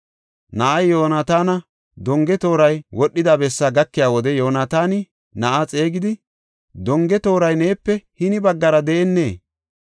Na7ay Yoonataana donge tooray wodhida bessaa gakiya wode Yoonataani na7aa xeegidi, “Donge tooray neepe hini baggara de7ennee?”